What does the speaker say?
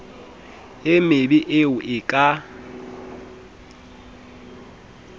e mebe eo e ka